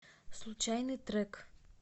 случайный трек